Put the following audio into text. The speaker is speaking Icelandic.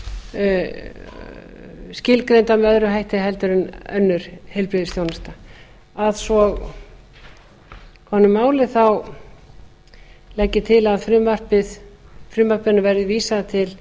hátt skilgreindar með öðrum hætti en önnur heilbrigðisþjónusta að svo komnu máli legg ég til að frumvarpinu verði vísað til